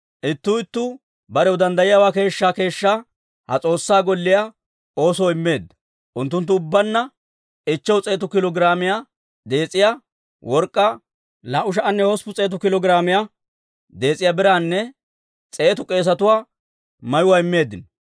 Ittuu ittuu barew danddayiyaawaa keeshshaa keeshshaa ha S'oossaa Golliyaa oosoo immeedda; unttunttu ubbaanna 500 kiilo giraamiyaa dees'iyaa work'k'aa, 2,800 kiilo giraamiyaa dees'iyaa biraanne 100 k'eesatuwaa mayuwaa immeeddino.